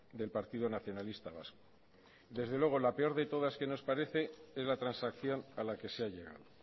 del partido nacionalista vasco desde luego la peor de todas que os parece es la transacción a la que se ha llegado